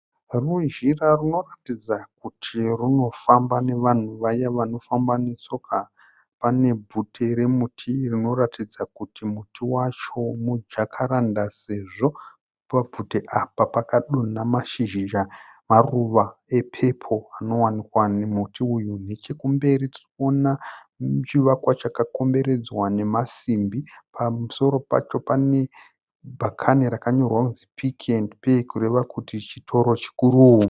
Runzira runoratidza kuti runofamba nevanhu vaye vanofamba netsoka. Pane bvute remuti rinoratidza kuti muti wacho mujakaranda sezvo pabvute apa pakadonha mashizha maruwa epepo anowanikwa mumuti uyu. Nechekumberi tirikuona chivakwa chakakomberedzwa nemasimbi, pamusoro pacho pane bhakane rakanyorwa kuti Pick n Pay kureva kuti chitoro chikuru.